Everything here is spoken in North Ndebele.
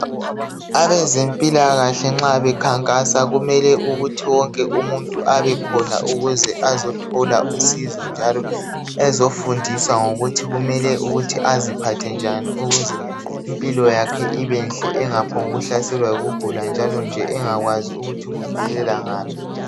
Abezempilakahle nxa bekhankasa kumele ukuthi wonke umuntu abekhona ukuze azotjola usizo njalo ezofundiswa ngokuthi kumele aziphathe njani ukuze impilo yakhe ibenhle engaphombukuhlaselwa yikugula njalonje engakwazi ukuthi kuvelela ngaphi